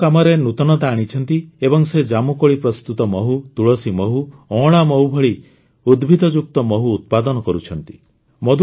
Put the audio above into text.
ସେ ନିଜ କାମରେ ନୂତନତା ଆଣିଛନ୍ତି ଏବଂ ସେ ଜାମୁକୋଳି ପ୍ରସ୍ତୁତ ମହୁ ତୁଳସୀ ମହୁ ଅଁଳା ମହୁ ଭଳି ଉଦ୍ଭିଦଯୁକ୍ତ ମହୁ ଉତ୍ପାଦନ କରୁଛନ୍ତି